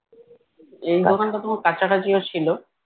এই দোকানটা তোমার কাছাকাছিও ছিল